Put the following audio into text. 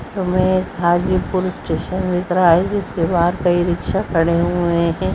इसमें हाजीपुर स्टेशन दिख रहा है जिसके बाहर कई रिक्शा खड़े हुए हैं।